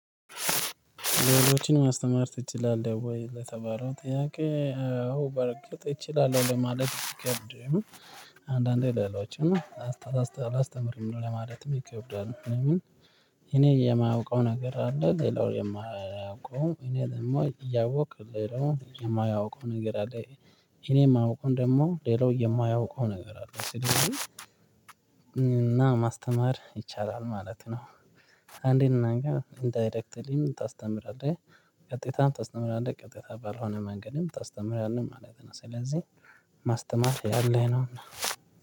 ሌሎችን ማስተማር ትችላለህ? ወይ ለተባለው ጥያቄ አዎ በርግጥ እችላለሁ ለማለት ቢከብድም። አንዳንዴ ሌሎችም አላስተምርም ለማለትም ይከብዳ። ለምን? የማያውቀው ነገር አለ ሌላው የማያውቀው እኔ ደግሞ እያወቅክ ሌላ የማያቀው ነገር አለ። እኔ የማውቀውን ደግሞ ሌላው የማያውቀው ነገር አለ ስለዚህ ማስተማር ይቻላል ማለት ነው። አንዴ እናን ኢንዳይሬክትሊም ታስተምራለህ። ቀጥይታም ታስተምራለህ ቀጥይታ ባልሆነ መንገድም ታስተምራለህ ማለት ነው። ስለዚህ ማስተማር ያለህ ነውና